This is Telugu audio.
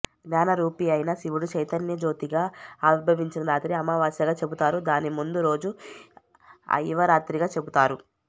జ్ఞానరూపియైన శివుడు చైతన్యజ్యోతిగా ఆవిర్భవించిన రాత్రి అమావాస్య గా చెపుతారు దానిముందురోజు అఇవరాత్రిగా చెపుతారు